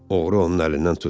Oğru onun əlindən tutdu.